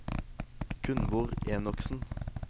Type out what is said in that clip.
Gunvor Enoksen